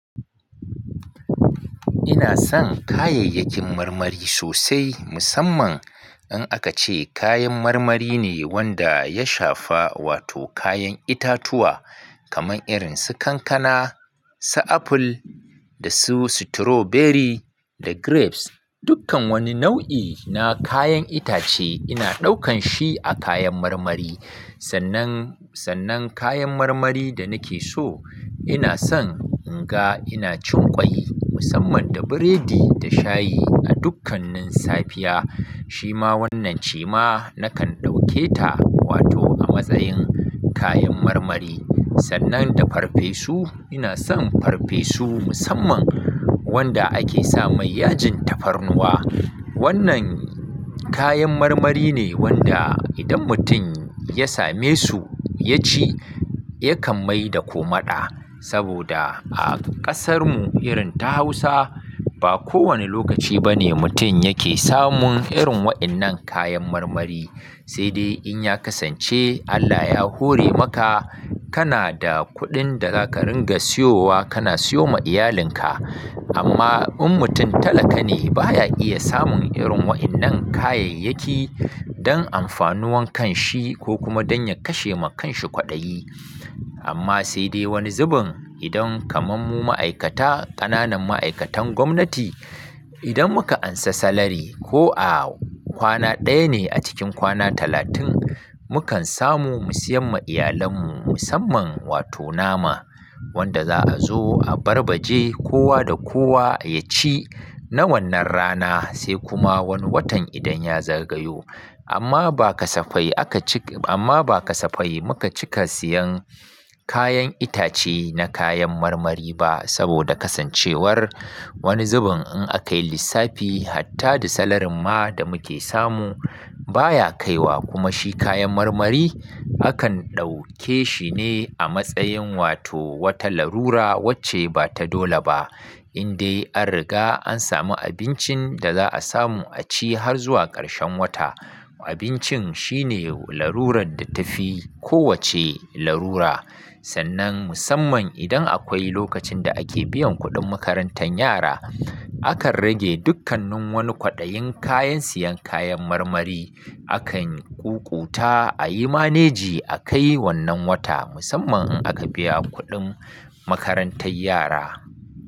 Inason kayayyakin marmari sosai, musamman in aka ce kayan marmari ne wanda ya shafa wato kayan itatuwa kamar irinsu kankana, su aful, da su sitiroberi da grapes. Dukkan wani nau'i na kayan itace ina ɗaukan shi a kayan marmari. Sannan, sannan kayan marmari da nakeso inason inga inacin ƙwai musamman da biredi da shayi a dukkanin safiya. Shima wannan ce ma nakan ɗauke ta wato a matsayin kayan marmari. Sannan da farfesu, inason farfesu musamman wanda ake samai yajin tafarnuwa. Wannan kayan marmari ne wanda idan mutum ya same su yaci yakan maida komaɗa. Saboda a ƙasarmu irin ta Hausa ba kowane lokaci bane mutum yake samun irin waɗannan kayan marmari. Sai dai in ya kasance Allah ya hore maka kana da kuɗin da zaka ringa siyowa kana siyoma iyalinka. Amma in mutum talaka ne baya iya samun irin waɗannan kayayyaki don amfanuwan kanshi ko kuma don ya kashe ma kanshi kwaɗayi. Amma sai dai wani zubin idan kamar mu ma'aikata, ƙananan ma'aikatan gwamnati, idan muka ansa salari ko a kwana ɗaya ne a cikin kwana talatin, mukan samu mu siyan ma iyalan mu musamman wato nama wanda za a zo a barbaje kowa da kowa ya ci na wannan rana sai kuma wani watan idan ya zagayo. Amma ba kasafai aka cik-- amma ba kasafai muka cika siyan kayan itace na kayan marmari ba saboda kasancewar wani zubin in aka yi lissafi hatta da salarin ma da muke samu baya kaiwa kuma shi kayan marmari akan ɗauke shine a matsayin wato wata lalura wacce bata dole ba. Indai an riga an samu abincinda za a samu a ci har zuwa karshen wata. Abincin shine larurar da tafi ko wacce larura. Sannan musamman idan akwai lokacin da ake biyan kuɗin makarantan yara, akan rage dukkannin wani kwaɗayin kayan siyan kayan marmari. Akan ƙuƙuta a yi manejin a kai wannan wata musamman in aka biya kuɗin makarantar yara.